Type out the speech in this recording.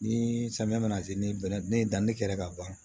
Ni samiya mana se ni bɛnnɛ ni danni kɛla ka ban